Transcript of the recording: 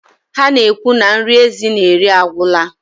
Ha na-ekwu na nri ezi na-eri agwụla.